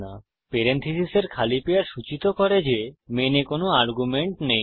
পেরেনথীসীসের খালি পেয়ার সূচিত করে যে মেনে কোনো আর্গুমেন্ট নেই